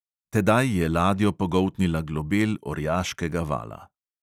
Tedaj je ladjo pogoltnila globel orjaškega vala.